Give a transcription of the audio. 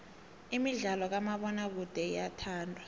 imidlalo kamabonakude iyathandwa